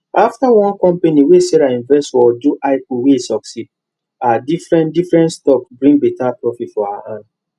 after one company wey sarah invest for do ipo wey succeed her different different stocks bring better profit for her hand